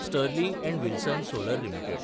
Sterling and Wilson solar limited